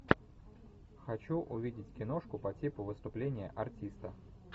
хочу увидеть киношку по типу выступление артиста